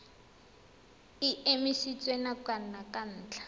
e emisitswe nakwana ka ntlha